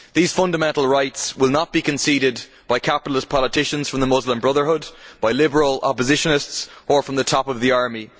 These fundamental rights will not be conceded by capitalist politicians from the Muslim Brotherhood, by liberal oppositionists or from the top of the army.